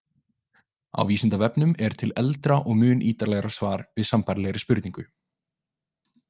Á Vísindavefnum er til eldra og mun ítarlegra svar við sambærilegri spurningu.